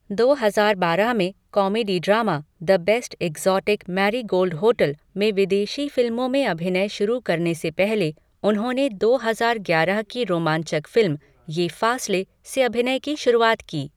दो हजार बारह में comedy drama 'The Best Exotic Marigold Hotel' में विदेशी फिल्मों में अभिनय शुरू करने से पहले उन्होंने दो हजार ग्यारह की रोमांचक फिल्म, 'ये फासले', से अभिनय की शुरुआत की।